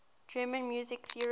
german music theorists